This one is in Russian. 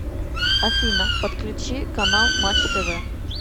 афина подключи канал матч тв